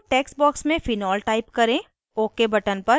अब input text box में phenol type करें